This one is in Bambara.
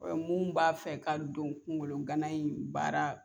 U bɛn mu b'a fɛ ka don kungolo gana in baara